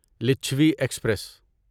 Lichchhavi express